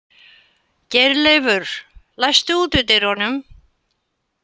Geirleifur, læstu útidyrunum.